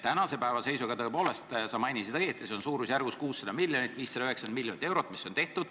Tänase seisuga on neid tõepoolest tehtud – sa mainisid õigesti – suurusjärgus 600 miljonit, 590 miljonit eurot.